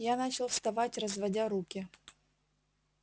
я начал вставать разводя руки